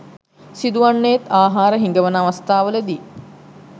සිදු වන්නේත් ආහාර හිඟවන අවස්ථා වලදී.